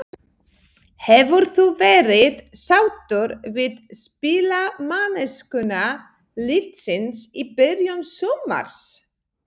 Hefur þú verið sáttur við spilamennskuna liðsins í byrjun sumars?